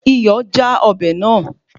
Iyọ̀ já ọbẹ̀ náà